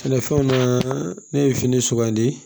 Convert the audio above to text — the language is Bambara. Sɛnɛfɛnw na ne ye fini sugandi